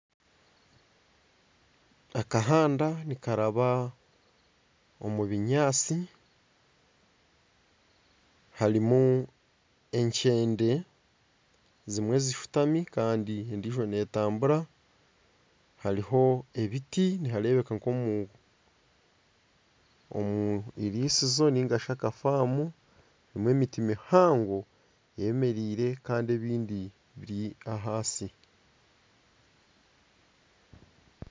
Akahanda nikaraba omu binyatsi harimu enkyende ezimwe zishutami kandi endiijo n'etambura hariho ebiti nibareebeka nkomu irisizo ningashi akafamu harimu emiti mihango eyemereire kandi ebindi biri ahansi.